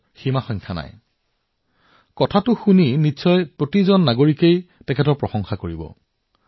এতিয়া এইটো শুনাৰ পিছত কোন এনে নাগৰিক নাথাকিব যিয়ে মাৰিমুথু যোগনাথন জীৰ কামৰ প্ৰশংসা নকৰিব